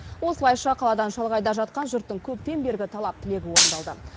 осылайша қаладан шалғайда жатқан жұрттың көптен бергі талап тілегі орындалды